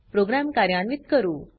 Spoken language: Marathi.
प्रोग्राम कार्यान्वित करू